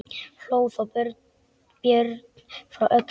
Hló þá Björn frá Öxl.